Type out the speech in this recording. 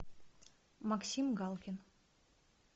максим галкин